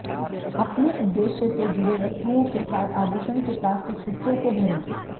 अपने उद्देश्य से जुड़े वस्तुओं के साथ आभूषण के प्लास्टिक हिस्सों को भरें